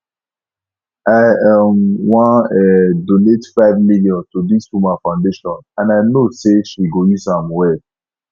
i um wan um donate five million to dis woman foundation and i know say she go use am well